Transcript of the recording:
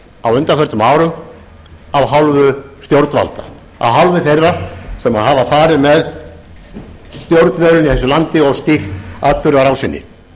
á undanförnum árum af hálfu stjórnvalda af hálfu þeirra sem hafa farið með stjórnvölinn í þessu landi og stýrt atburðarásinni